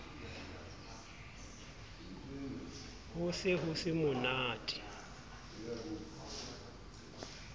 ho se ho se monate